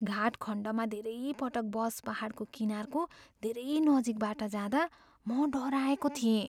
घाट खण्डमा धेरै पटक बस पाहाडको किनारको धेरै नजिकबाट जाँदा म डराएको थिएँ।